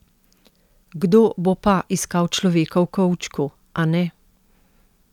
Kdo bo pa iskal človeka v kovčku, a ne?